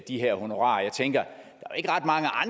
de her honorarer jeg tænker